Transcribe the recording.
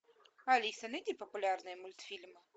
алиса найди популярные мультфильмы